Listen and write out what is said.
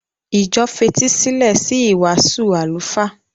Ìjọ fetí sílẹ̀ sí ìwàásù àlùfáà.